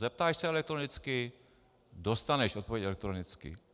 Zeptáš se elektronicky, dostaneš odpověď elektronicky.